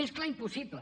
més clar impossible